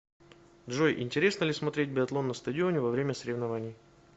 джой интересно ли смотреть биатлон на стадионе во время соревнований